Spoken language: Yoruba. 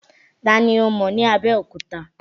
Ta ni ó mọ̀ ní Abẹ́òkúta?